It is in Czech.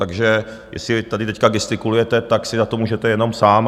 Takže jestli tady teď gestikulujete, tak si za to můžete jenom sám.